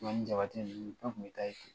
Tumani Jabate ninnu tun bɛ taa yen